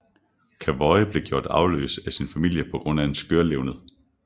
Cavoye blev gjort arveløs af sin familie på grund af skørlevned